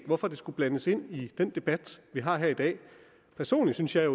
hvorfor det skulle blandes ind i den debat vi har her i dag personligt synes jeg